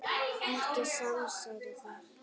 Ekkert samsæri þar.